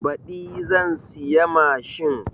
Baɗi zan siya mashin